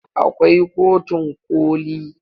Akwai kotun koli.